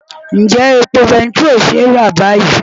Ǹjẹ́ epo bẹntiró ṣe é rà báyìí?